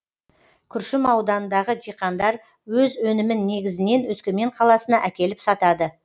күршім ауданындағы диқандар өз өнімін негізінен өскемен қаласына әкеліп сатады